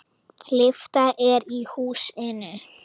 Lyfta er í húsinu.